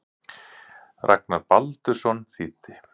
Ragnar Baldursson þýddi.